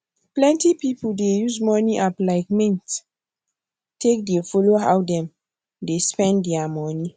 plenty pipu dey use money app like mint take dey follow how dem dey spend dia money